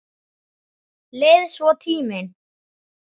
Leið svo tíminn.